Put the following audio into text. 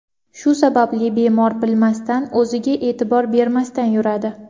Shu sababli bemor bilmasdan, o‘ziga e’tibor bermasdan yuradi.